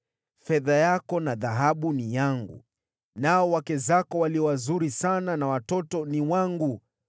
‘Fedha yako na dhahabu ni yangu, nao wake zako walio wazuri sana na watoto ni wangu.’ ”